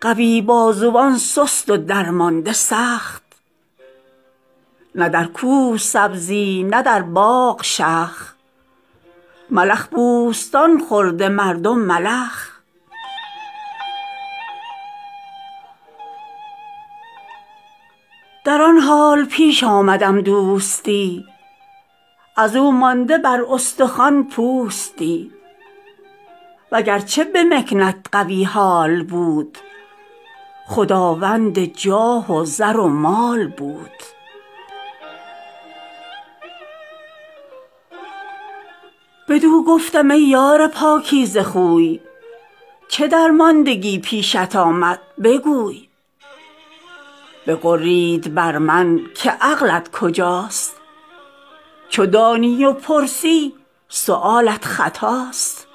قوی بازوان سست و درمانده سخت نه در کوه سبزی نه در باغ شخ ملخ بوستان خورده مردم ملخ در آن حال پیش آمدم دوستی از او مانده بر استخوان پوستی وگرچه به مکنت قوی حال بود خداوند جاه و زر و مال بود بدو گفتم ای یار پاکیزه خوی چه درماندگی پیشت آمد بگوی بغرید بر من که عقلت کجاست چو دانی و پرسی سؤالت خطاست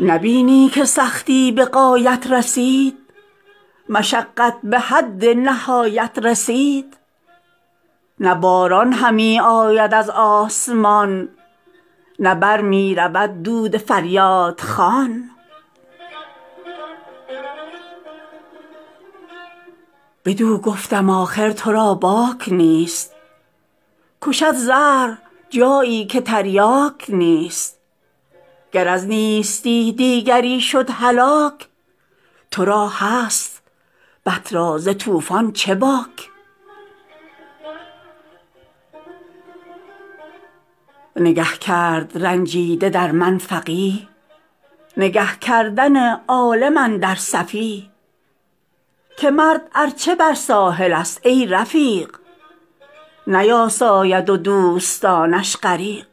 نبینی که سختی به غایت رسید مشقت به حد نهایت رسید نه باران همی آید از آسمان نه بر می رود دود فریادخوان بدو گفتم آخر تو را باک نیست کشد زهر جایی که تریاک نیست گر از نیستی دیگری شد هلاک تو را هست بط را ز طوفان چه باک نگه کرد رنجیده در من فقیه نگه کردن عالم اندر سفیه که مرد ارچه بر ساحل است ای رفیق نیاساید و دوستانش غریق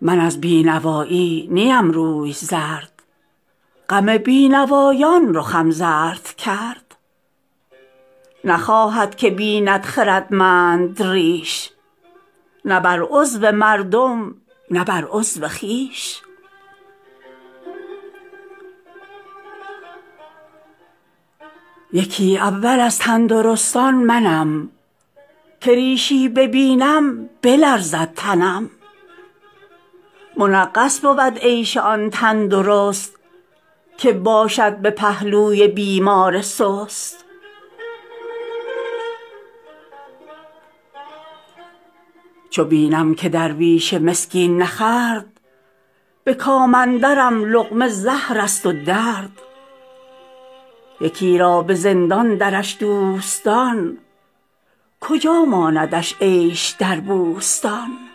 من از بینوایی نیم روی زرد غم بینوایان رخم زرد کرد نخواهد که بیند خردمند ریش نه بر عضو مردم نه بر عضو خویش یکی اول از تندرستان منم که ریشی ببینم بلرزد تنم منغص بود عیش آن تندرست که باشد به پهلوی بیمار سست چو بینم که درویش مسکین نخورد به کام اندرم لقمه زهر است و درد یکی را به زندان درش دوستان کجا ماندش عیش در بوستان